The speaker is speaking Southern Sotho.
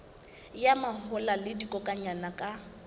ya mahola le dikokwanyana ka